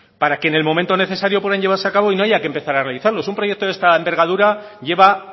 para que en el momento necesario puedan llevarse a cabo y no haya que empezar a revisarlos un proyecto de esta envergadura lleva